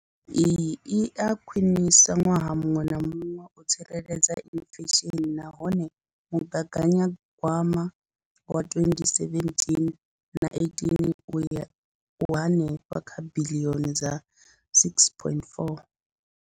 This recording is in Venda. Iyi i a khwiniswa ṅwaha muṅwe na muṅwe u tsireledza inflesheni nahone mugaganyagwama wa 2017-18 u henefha kha biḽioni dza R6.4.